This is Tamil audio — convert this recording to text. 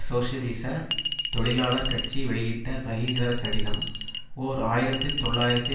சோசியலிச தொழிலாளர் கட்சி வெளியிட்ட பகிரங்கக்கடிதம் ஓர் ஆயிரத்தி தொள்ளாயிரத்து